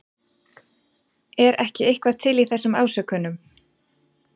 Er ekki eitthvað til í þessum ásökunum?